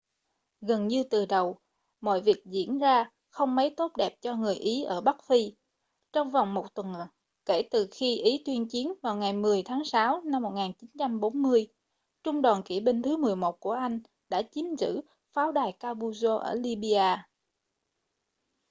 gần như từ đầu mọi việc diễn ra không mấy tốt đẹp cho người ý ở bắc phi trong vòng một tuần kể từ khi ý tuyên chiến vào ngày 10 tháng 6 năm 1940 trung đoàn kỵ binh thứ 11 của anh đã chiếm giữ pháo đài capuzzo ở libya